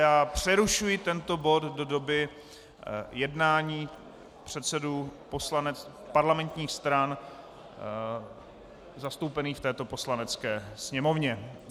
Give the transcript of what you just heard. Já přerušuji tento bod do doby jednání předsedů parlamentních stran zastoupených v této Poslanecké sněmovně.